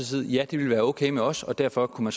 sige ja det ville være okay med os og derfor kunne